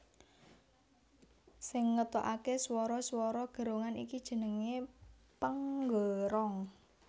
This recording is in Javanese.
Sing ngetokake swara swara gerongan iki jenenge penggerong